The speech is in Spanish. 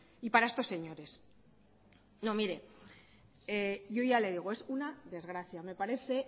y para estos señores no mire yo ya le digo es una desgracia me parece